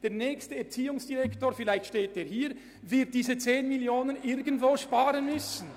Der nächste Erziehungsdirektor wird diese 10 Mio. Franken irgendwo einsparen müssen.